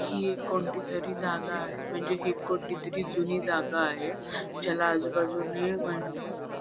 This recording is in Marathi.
हि एक कोणतीतरी जागा आहे म्हणजे हि कोणतीतरी जुनी जागा आहे ज्याला आजूबाजूने म्हणजे--